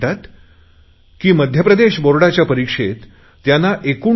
ते म्हणतात की मध्यप्रदेश बोर्डाच्या परिक्षेत त्यांना 89